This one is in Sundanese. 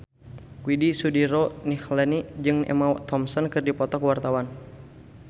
Widy Soediro Nichlany jeung Emma Thompson keur dipoto ku wartawan